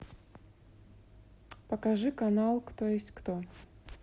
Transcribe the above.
покажи канал кто есть кто